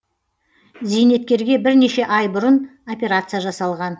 зейнеткерге бірнеше ай бұрын операция жасалған